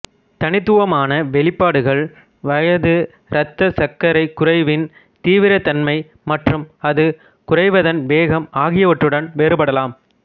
தனித்துவமான வெளிப்பாடுகள் வயது இரத்தச் சர்க்கரைக் குறைவின் தீவிரத்தன்மை மற்றும் அது குறைவதன் வேகம் ஆகியவற்றுடன் வேறுபடலாம்